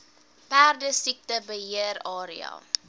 perdesiekte beheer area